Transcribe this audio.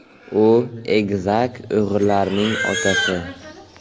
U egizak o‘g‘illarning otasi.